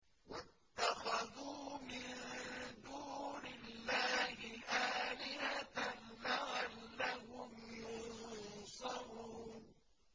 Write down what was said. وَاتَّخَذُوا مِن دُونِ اللَّهِ آلِهَةً لَّعَلَّهُمْ يُنصَرُونَ